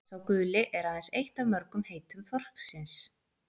„sá guli“ er aðeins eitt af mörgum heitum þorsksins